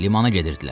Limana gedirdilər.